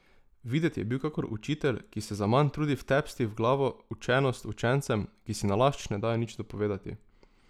Videti je bil kakor učitelj, ki se zaman trudi vtepsti v glavo učenost učencem, ki si nalašč ne dajo nič dopovedati.